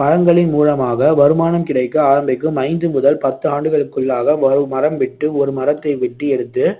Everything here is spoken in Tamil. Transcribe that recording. பழங்களின் மூலமாக வருமானம் கிடைக்க ஆரம்பிக்கும் ஐந்து முதல் பத்து ஆண்டுகளுக்குள்ளாக ஒரு மரம் விட்டு ஒரு மரத்தை வெட்டி எடுத்து